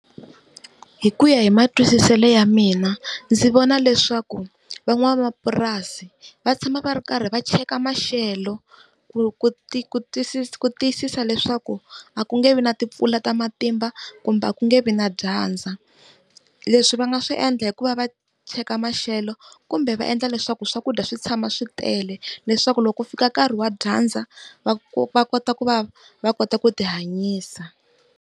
Hi ku ya hi matwisiselo ya mina ndzi vona leswaku van'wamapurasi va tshama va ri karhi va cheka maxelo kuku tiyisisa ku tiyisisa leswaku a ku nge vi na timpfula ta matimba kumbe ku nge vi na dyandza. Leswi va nga swi endla hikuva va cheka maxelo kumbe va endla leswaku swakudya swi tshama swi tele leswaku loko fika nkarhi wa dyandza va kota ku va va kota ku tihanyisa.